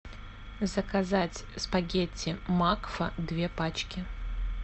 заказать спагетти макфа две пачки